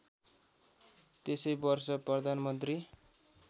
त्यसै वर्ष प्रधानमन्त्री